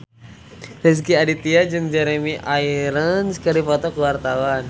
Rezky Aditya jeung Jeremy Irons keur dipoto ku wartawan